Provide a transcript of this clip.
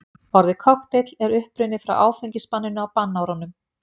orðið kokteill er upprunnið frá áfengisbanninu á bannárunum